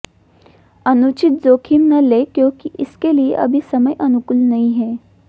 अनुचित जोखिम न लें क्योंकि इसके लिए अभी समय अनुकूल नहीं है